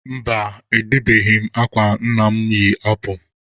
Mba, edebeghị m akwa nna mụ yi apụ.